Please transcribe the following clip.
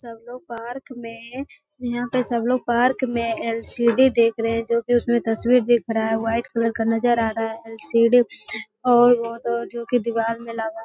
सब लोग पार्क में यहाँ पर सब लोग पार्क में एल.सी.डी. देख रहे हैं जो की उसमें तस्वीर दिख रहा है व्हाइट कलर का नजर आ रहा है एल.सी.डी. और वो तो जो की दीवार में लगा है।